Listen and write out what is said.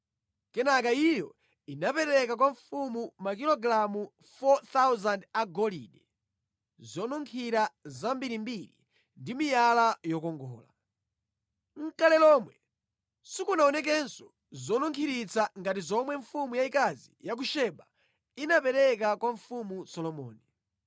Kenaka iyo inapereka kwa mfumu makilogalamu 4,000 a golide, zonunkhira zambirimbiri ndi miyala yokongola. Nʼkale lomwe sikunaonekenso zonunkhiritsa ngati zomwe mfumu yayikazi ya ku Seba inapereka kwa mfumu Solomoni.